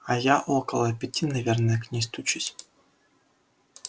а я около пяти наверное к ней стучусь